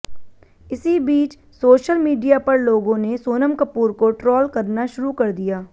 इसी बीच social media पर लोगों ने सोनम कपूर को ट्रोल करना शुरू कर दिया